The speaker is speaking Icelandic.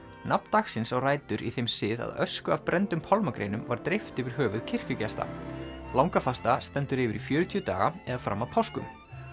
nafn dagsins á rætur í þeim sið að ösku af brenndum var dreift yfir höfuð kirkjugesta langafasta stendur yfir í fjörutíu daga eða fram að páskum